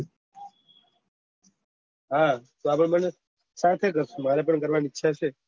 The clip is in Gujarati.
હા તો અમે બન્ને સાથે કરશું મારે પણ કરવાની ઈચ્છા છે